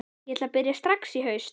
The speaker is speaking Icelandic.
Ég ætla að byrja strax í haust.